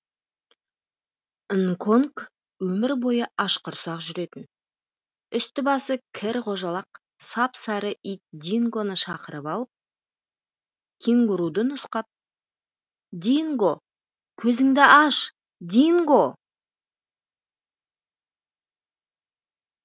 нконг өмір бойы ашқұрсақ жүретін үсті басы кір қожалақ сап сары ит дингоны шақырып алып кенгуруды нұсқап динго көзіңді аш динго